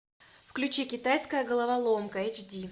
включи китайская головоломка эйч ди